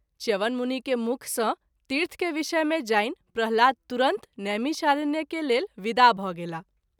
च्यवन मुनि के मुँख सँ तीर्थ के विषय मे जानि प्रह्लाद तुरत नैमिषारण्य के लेल विदा भ’ गेलाह।